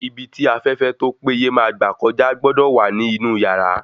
Ibi tí afẹ́fẹ́ tó pé ye máa gbà kọjá gbọ́dọ̀ wà ní inú yàrá